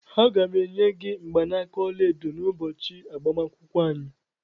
Aga m-enye gị mgbanaka ọla edo n'ụbọchị agbamakwụkwọ anyị.